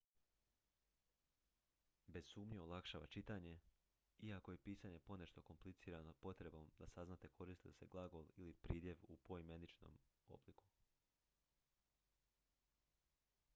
bez sumnje olakšava čitanje iako je pisanje ponešto komplicirano potrebom da saznate koristi li se glagol ili pridjev u poimeničenom obliku